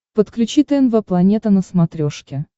подключи тнв планета на смотрешке